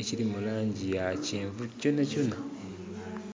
ekili mu langi ya kyenvu kyonha kyonha.